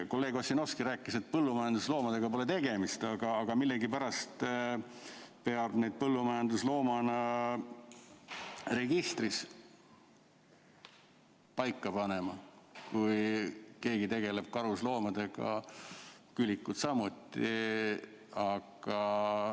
Kolleeg Ossinovski rääkis, et põllumajandusloomadega pole tegemist, aga millegipärast peab neid põllumajandusloomadena registris kirja panema, kui keegi tegeleb karusloomadega, küülikud samuti.